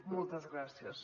moltes gràcies